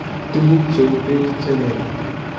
Tuguuk cheu peek che leel